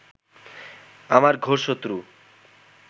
আমার ঘোর শত্রু